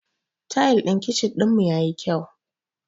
Tayal ɗin kichin ɗinmu yayi kyau.